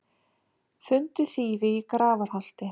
Fundu þýfi í Grafarholti